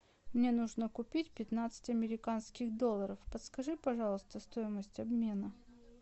мне нужно купить пятнадцать американских долларов подскажи пожалуйста стоимость обмена